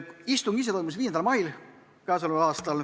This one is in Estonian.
Istung ise toimus 5. mail.